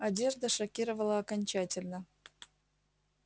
одежда шокировала окончательно